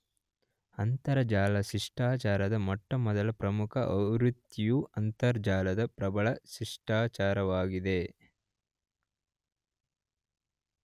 ಅಂತರಜಾಲ ಶಿಷ್ಟಾಚಾರದ ಮೊಟ್ಟಮೊದಲ ಪ್ರಮುಖ ಆವೃತ್ತಿಯು ಅಂತರಜಾಲದ ಪ್ರಬಲ ಶಿಷ್ಟಾಚಾರವಾಗಿದೆ.